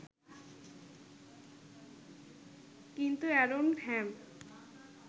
কিন্তু এ্যারন হ্যাম